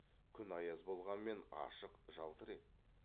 күн аяз болғанмен ашық жалтыр еді